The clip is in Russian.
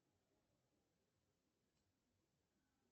джой а какое завтра будет число